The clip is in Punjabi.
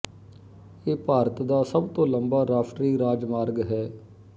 ਇਹ ਭਾਰਤ ਦਾ ਸਭ ਤੋਂ ਲੰਬਾ ਰਾਸ਼ਟਰੀ ਰਾਜਮਾਰਗ ਹੈ